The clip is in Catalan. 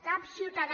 cap ciutadà